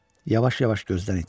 Yavaş-yavaş gözdən itirdi.